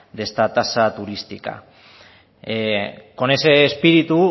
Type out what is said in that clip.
de esta tasa turística con ese espíritu